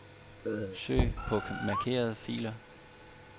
Søg på markerede filer.